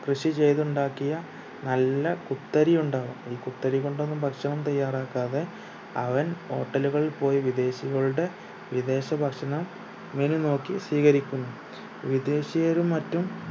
കൃഷി ചെയ്ത് ഉണ്ടാക്കിയ നല്ല കുത്തരി ഉണ്ടാകും ഈ കുത്തരി കൊണ്ടൊന്നും ഭക്ഷണം തയ്യാറാക്കാതെ അവൻ ഹോട്ടലുകളിൽ പോയി വിദേശികളുടെ വിദേശ ഭക്ഷണം menu നോക്കി സ്വീകരിക്കുന്നു വിദേശീയരും മറ്റും